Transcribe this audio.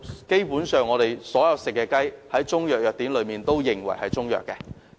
基本上，所有食用的雞在中藥藥典中皆會定性為中藥。